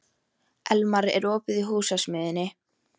Elmar, er opið í Húsasmiðjunni?